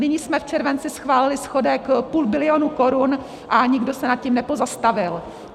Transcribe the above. Nyní jsme v červenci schválili schodek půl bilionu korun a nikdo se nad tím nepozastavil.